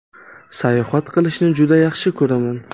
Sayohat qilishni juda yaxshi ko‘raman.